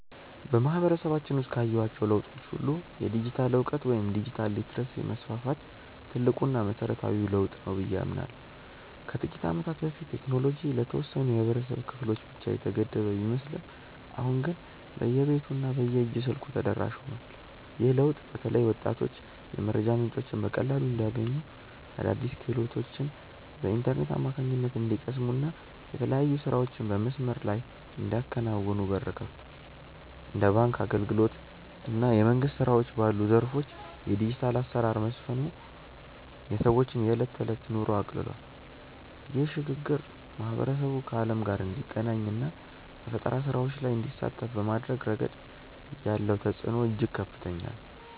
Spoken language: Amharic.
በማህበረሰባችን ውስጥ ካየኋቸው ለውጦች ሁሉ የዲጂታል እውቀት ወይም ዲጂታል ሊተረሲ መስፋፋት ትልቁና መሰረታዊው ለውጥ ነው ብዬ አምናለሁ። ከጥቂት ዓመታት በፊት ቴክኖሎጂ ለተወሰኑ የህብረተሰብ ክፍሎች ብቻ የተገደበ ቢመስልም አሁን ግን በየቤቱ እና በየእጅ ስልኩ ተደራሽ ሆኗል። ይህ ለውጥ በተለይ ወጣቶች የመረጃ ምንጮችን በቀላሉ እንዲያገኙ፣ አዳዲስ ክህሎቶችን በኢንተርኔት አማካኝነት እንዲቀስሙ እና የተለያዩ ስራዎችን በመስመር ላይ እንዲያከናውኑ በር ከፍቷል። እንደ ባንክ አገልግሎት እና የመንግስት ስራዎች ባሉ ዘርፎች የዲጂታል አሰራር መስፈኑ የሰዎችን የዕለት ተዕለት ኑሮ አቅልሏል። ይህ ሽግግር ማህበረሰቡ ከዓለም ጋር እንዲገናኝ እና በፈጠራ ስራዎች ላይ እንዲሳተፍ በማድረግ ረገድ ያለው ተጽዕኖ እጅግ ከፍተኛ ነው።